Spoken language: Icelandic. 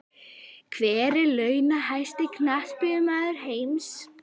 Hver er launahæsti Knattspyrnumaður heims?